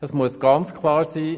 Es muss ganz klar sein.